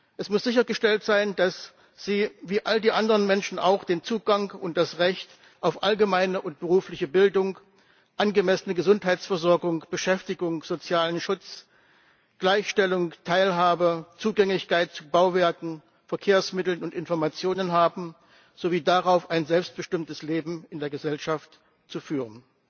Es muss sichergestellt sein, dass sie wie all die anderen Menschen auch Zugang zu und das Recht auf allgemeine und berufliche Bildung, angemessene Gesundheitsversorgung, Beschäftigung, sozialen Schutz, Gleichstellung und Teilhabe und Zugang zu Bauwerken, Verkehrsmitteln und Informationen haben sowie das Recht darauf, ein selbstbestimmtes Leben in der Gesellschaft zu führen.